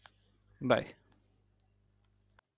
Bye